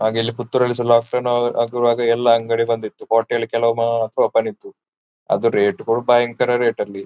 ಹಾಗೆ ಇಲ್ಲಿ ಪುತ್ತೂರು ಅಲ್ಲಿ ಸ ಲಾಕ್ ಡೌನ್ ಆಗುವಾಗ ಎಲ್ಲ ಅಂಗಡಿ ಬಂದ್ ಇತ್ತು ಹೋಟೆಲ್ ಕೆಲವು ಮಾತ್ರ ಓಪನ್ ಇತ್ತು ಅದು ರೇಟ್ ಗಳು ಭಯಂಕರ ರೇಟ್ ಅಲ್ಲಿ.